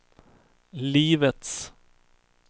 livets